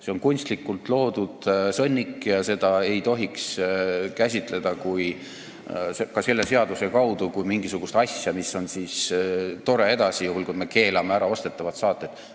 See on kunstlikult loodud sõnnik ja seda ei tohiks käsitleda ka selle seaduse kaudu kui mingisugust asja, mis on tore edasi, juhul kui me keelame ära ostetavad saated.